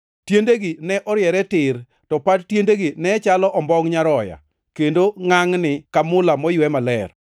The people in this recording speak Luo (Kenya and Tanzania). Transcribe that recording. Tiendegi ne oriere tir, to pat tiendegi ne chalo ombongʼ nyaroya, kendo ngʼangʼni ka mula moywe maler.